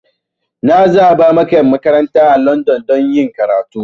Na zaba maka makaranta a Landan don yin karatu.